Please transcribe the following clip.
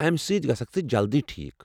امہِ سۭتۍ گژھکھ ژٕ جلدی ٹھیٖک۔